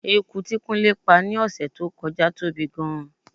Eku tí kúnlé pá ni ọ̀sẹ̀ tó kọjá tóbi gidi gan-an.